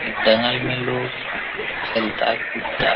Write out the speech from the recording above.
एक दगाल मै लोग खेलता कुदता।